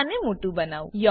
હું આને મોટું બનાવું